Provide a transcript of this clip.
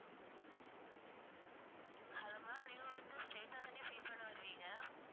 hello ma'am நீங்க வந்து straight ஆதானே pay பண்ண வருவீங்க